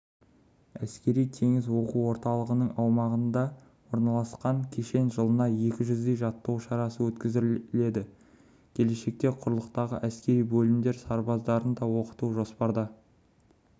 әскери теңіз оқу орталығының аумағында орналасқан кешенде жылына екі жүздей жаттығу шарасы өткізіледі келешекте құрлықтағы әскери бөлімдер сарбаздарын да оқыту жоспарда